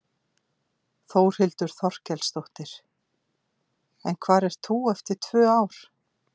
Þórhildur Þorkelsdóttir: En hvar ert þú eftir tvö ár?